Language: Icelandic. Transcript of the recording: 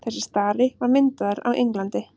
þessi stari var myndaður á englandi